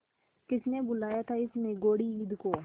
किसने बुलाया था इस निगौड़ी ईद को